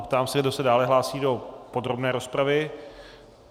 Ptám se, kdo se dále hlásí do podrobné rozpravy.